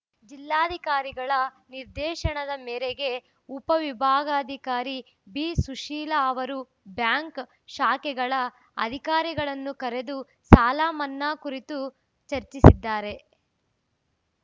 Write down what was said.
ಜಿಲ್ಲಾಧಿಕಾರಿಗಳ ನಿರ್ದೇಶನದ ಮೇರೆಗೆ ಉಪ ವಿಭಾಗಾಧಿಕಾರಿ ಬಿಸುಶೀಲಾ ಅವರು ಬ್ಯಾಂಕ್‌ ಶಾಖೆಗಳ ಅಧಿಕಾರಿಗಳನ್ನು ಕರೆದು ಸಾಲಮನ್ನಾ ಕುರಿತು ಚರ್ಚಿಸಿದ್ದಾರೆ